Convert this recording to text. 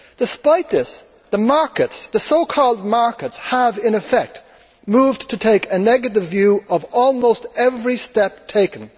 Despite this, the markets the so called markets have, in effect, moved to take a negative view of almost every step taken.